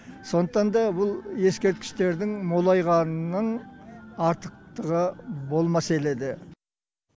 сондықтан да бұл ескерткіштердің молайғанының артықтығы болмас еледі